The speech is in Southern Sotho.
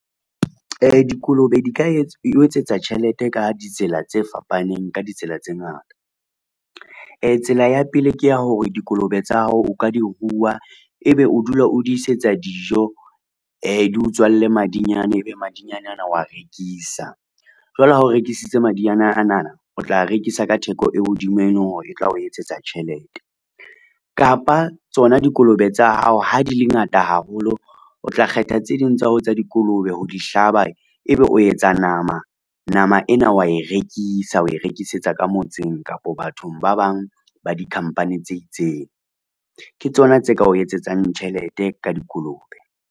Dikolobe di ka o etsetsa tjhelete ka ditsela tse fapaneng ka ditsela tse ngata. Tsela ya pele, ke ya hore dikolobe tsa hao o ka di rua, ebe o dula o di isetsa dijo di o tswalle madinyane, ebe madinyane ana wa rekisa. Jwale ha o rekisitse madinyana anana o tla rekisa ka theko e hodimo, e leng hore e tla o etsetsa tjhelete, kapa tsona dikolobe tsa hao ha di le ngata haholo, o tla kgetha tse ding tsa hao tsa dikolobe ho di hlaba ebe o etsa nama. Nama ena wa e rekisa o e rekisetsa ka motseng kapa bathong ba bang ba dikhampani tse itseng, ke tsona tse ka o etsetsang tjhelete ka dikolobe.